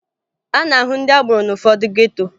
A na-ahụ ndị agboro n'ụfọdụ geto